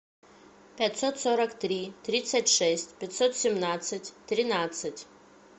пятьсот сорок три тридцать шесть пятьсот семнадцать тринадцать